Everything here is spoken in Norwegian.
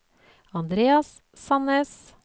Andreas Sannes